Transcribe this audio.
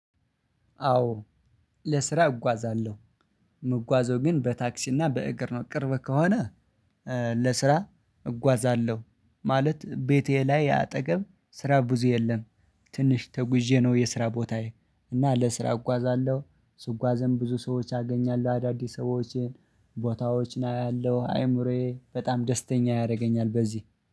አዎ ለስራ እጓዛለሁ። የምጓዘው ግን በታክሲና በእግር ነው ቅርብ ከሆነ። ለስራ እጓዛለሁ ማለት ቤቴ ላይ አጠገብ ስራ ብዙ የለም። ትንሽ ተጉዤ ነው። የስራ ቦታዬ እና ለስራ እጓዛለሁ። ስጓዝም ብዙ ሰዎች አገኛለሁ አዳዲስ ሰዎችን ቦታዎችን አያለሁ አይምሮዬ በጣም ደስተኛ ያደርገኛል። በዚህ